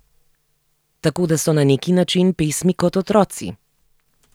Tako, da so na neki način pesmi kot otroci.